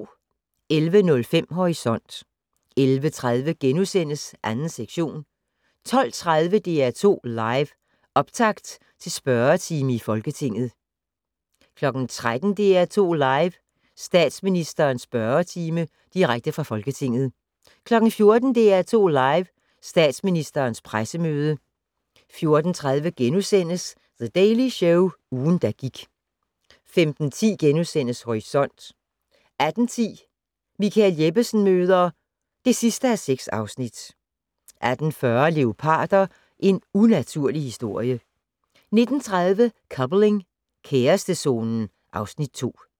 11:05: Horisont 11:30: 2. sektion * 12:30: DR2 Live: Optakt til spørgetime i Folketinget 13:00: DR2 Live: Statsministerens spørgetime - direkte fra Folketinget 14:00: DR2 Live: Statsministerens pressemøde 14:30: The Daily Show - ugen, der gik * 15:10: Horisont * 18:10: Michael Jeppesen møder (6:6) 18:40: Leoparder - en unaturlig historie 19:30: Coupling - kærestezonen (Afs. 2)